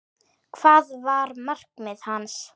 Hvað var markmið hans?